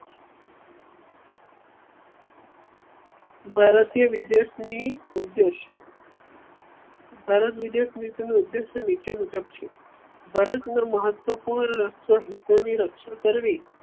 ભારતીય વિદેશ ની ઉદેશ્ય ભારત વિદેશ નીતિ નો ઉદેશ્ય નીચે મુજબ છે. ભારત નો મહત્વ પૂર્ણ રક્ષણ કરવી